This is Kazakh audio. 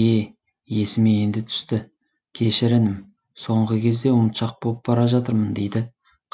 е есіме енді түсті кешір інім соңғы кезде ұмытшақ боп бара жатырмын дейді